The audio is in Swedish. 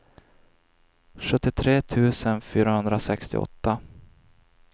sjuttiotre tusen fyrahundrasextioåtta